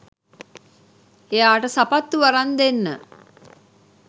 එයාට සපත්තු අරන් දෙන්න